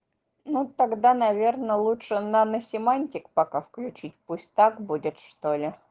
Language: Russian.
ну тогда наверное лучше наносемантик пока включить пусть так будет что ли